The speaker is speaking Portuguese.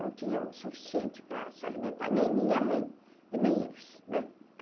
Não tinham o suficiente para se alimentar, nem minha mãe e nem eles, né?